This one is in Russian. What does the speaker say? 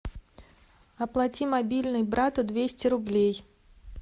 оплати мобильный брату двести рублей